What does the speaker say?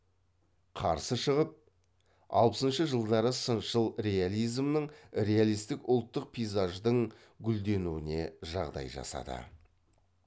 қарсы шығып алпысыншы жылдары сыншыл реализмнің реалистік ұлттық пейзаждың гүлденуіне жағдай жасады